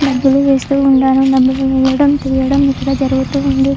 డబ్బులు వేస్తూ ఉండటం డబ్బులు వేయడం తియ్యడం ఇక్కడ జరుగుతూ ఉంది.